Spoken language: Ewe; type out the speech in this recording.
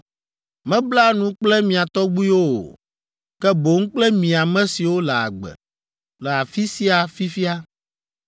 Mebla nu kple mia tɔgbuiwo o, ke boŋ kple mi ame siwo le agbe, le afi sia fifia